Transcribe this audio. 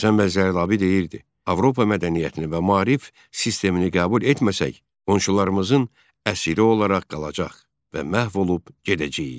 Həsən bəy Zərdabi deyirdi: Avropa mədəniyyətini və maarif sistemini qəbul etməsək, qonşularımızın əsiri olaraq qalacağıq və məhv olub gedəcəyik.